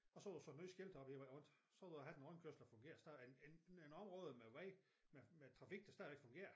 Og så har ud sat nye skilte op hele vejen rundt så ville du have en rundkørsel der fungerer stadig en en område med vej med med trafik der stadigvæk fungerer